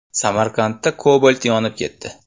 Samarqandda Cobalt yonib ketdi .